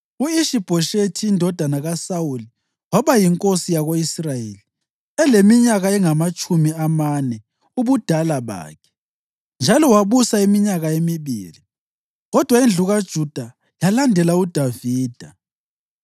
U-Ishi-Bhoshethi indodana kaSawuli waba yinkosi yako-Israyeli eleminyaka engamatshumi amane ubudala bakhe, njalo wabusa iminyaka emibili. Kodwa indlu kaJuda yalandela uDavida.